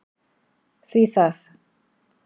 Hví það?